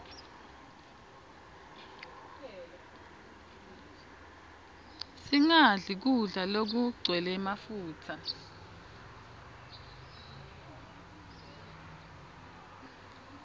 singadli kudla lokugcwele mafutsa